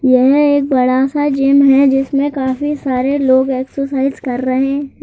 यह एक बड़ा सा जिम है जिसमें काफी सारे लोग एक्सरसाइज कर रहेह--